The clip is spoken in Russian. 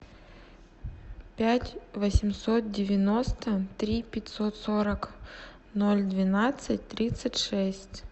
пять восемьсот девяносто три пятьсот сорок ноль двенадцать тридцать шесть